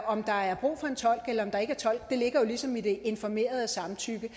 om der er brug for en tolk eller om der ikke er tolk det ligger ligesom i det informerede samtykke